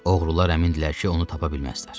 Oğrular əmindilər ki, onu tapa bilməzlər.